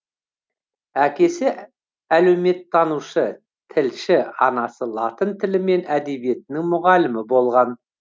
әкесі әлеуметтанушы тілші анасы латын тілі мен әдебиетінің мұғалімі болған